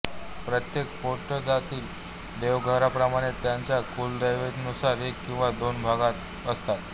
प्रत्येक पोटजातीच्या देवघराप्रमाणेच त्यांच्या कुलदेवीनुसार एक किंवा दोन भगत असतात